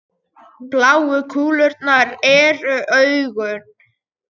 bláu kúlurnar eru augun